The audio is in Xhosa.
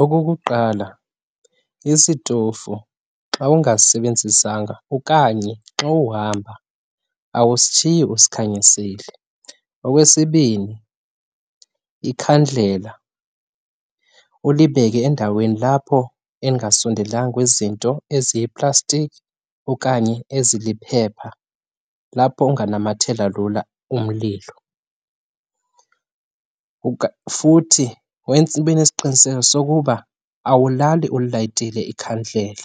Okokuqala isitofu xa ungasisebenzisanga okanye xa uhamba awusishiyi usikhanyisile. Okwesibini ikhandlela ulibeke endaweni lapho elingasondelanga kwizinto eziyiplastiki okanye eziliphepha, lapho unganamathela lula umlilo. Futhi wenze, ube nesiqinisekiso sokuba awulali ulilayitile ikhandlela